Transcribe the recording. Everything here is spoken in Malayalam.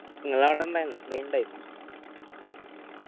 ഇങ്ങള ആട ഇണ്ടായ്‌ന screen ഇണ്ടയ്‌ന